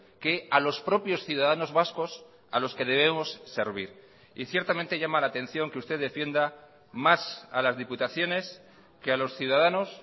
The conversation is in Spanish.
que a los propios ciudadanos vascos a los que debemos servir y ciertamente llama la atención que usted defienda más a las diputaciones que a los ciudadanos